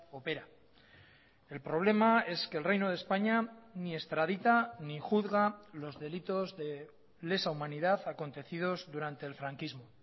opera el problema es que el reino de españa ni extradita ni juzga los delitos de lesa humanidad acontecidos durante el franquismo